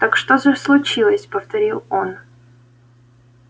так что же случилось повторил он